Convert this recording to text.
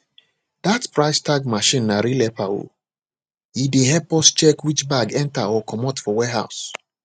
that price tag machine na real helper o e dey help us check which bag enter or comot for warehouse